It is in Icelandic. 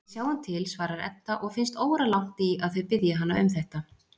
Við sjáum til, svarar Edda og finnst óralangt í að þau biðji hana um þetta.